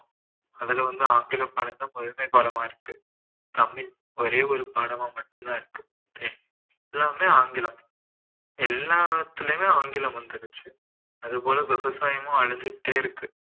அதுல வந்து ஆங்கில பாடத்தை முதன்மை பாடமா இருக்கு தமிழ் ஒரே ஒரு பாடமா மட்டும் தான் இருக்கு எல்லாமே ஆங்கிலம் எல்லாத்துலயுமே ஆங்கிலம் வந்துடுச்சு அதுபோல விவசாயமும் அழிஞ்சுக்கிட்டே இருக்கு